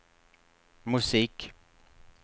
musik